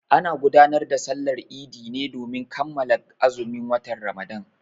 Ana gudanar da Sallar Idi ne domin kammala azumin watan Ramadan.